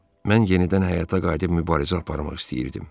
Mən yenidən həyata qayıdıb mübarizə aparmaq istəyirdim.